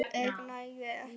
ég nægði ekki.